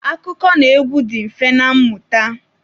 Akụkọnaegwu dị mfe na mmụta.